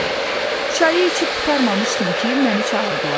Çayı içib qurtarmamışdım ki, məni çağırdılar.